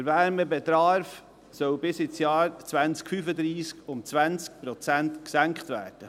Der Wärmebedarf soll bis ins Jahr 2035 um 20 Prozent gesenkt werden.